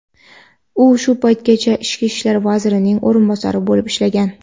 u shu paytgacha ichki ishlar vazirining o‘rinbosari bo‘lib ishlagan.